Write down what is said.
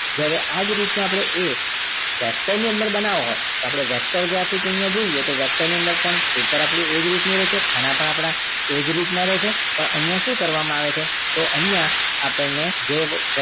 જો આવી જ રીત નો એ vector ની અંદર બનાવો તો આપણે vector graphics કહીએ જોઈએ તો vector ની અંદર આપણું પેપર એજ રીત નું રહે છે ખાના પણ આપના એજ રીત ના રહે છે પણ અહિયાં શું કરવામાં આવે છે તો અહિયાં આપણે